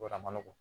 Wa a ma nɔgɔ